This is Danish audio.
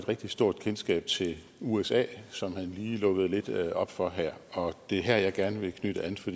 rigtig stort kendskab til usa som han lige lukkede lidt op for her og det er her jeg gerne vil knytte an for